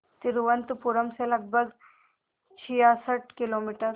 तिरुवनंतपुरम से लगभग छियासठ किलोमीटर